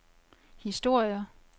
historier